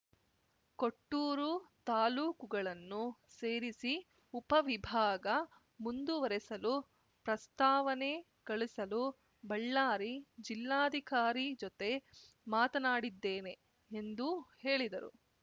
ಕೊಟ್ಟೂರು ತಾಲೂಕುಗಳನ್ನು ಸೇರಿಸಿ ಉಪವಿಭಾಗ ಮುಂದುವರೆಸಲು ಪ್ರಸ್ತಾವನೆ ಕಳಿಸಲು ಬಳ್ಳಾರಿ ಜಿಲ್ಲಾಧಿಕಾರಿ ಜೊತೆ ಮಾತನಾಡಿದ್ದೇನೆ ಎಂದು ಹೇಳಿದರು